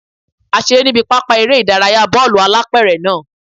A seré níbi pápá eré ìdárayá bọ́ọ̀lù-alápẹ̀rẹ̀ náà